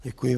Děkuji.